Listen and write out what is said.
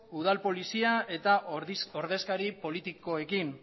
udal polizia eta ordezkari politikoekin